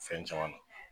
Fɛn caman na